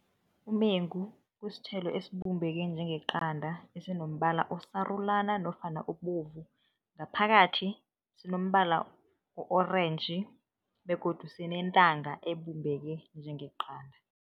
Umengu kusithelo esibumbeke njengeqanda, esinombala osarulana nofana obovu. Ngaphakathi sinombala o-orentji begodu sinentanga ebumbeke njengeqanda.